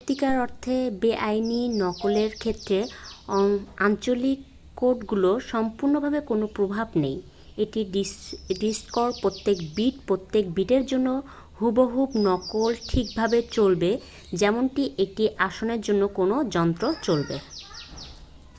সত্যিকার অর্থে বেআইনী নকলের ক্ষেত্রে আঞ্চলিক কোডগুলোর সম্পূর্ণভাবেই কোন প্রভাবই নেই একটি ডিস্কের প্রত্যেক বিট প্রত্যেক বিটের জন্য হুবহু নকল ঠিকভাবে চলবে যেমনটি একটি আসলের জন্য কোন যন্ত্রে চলবে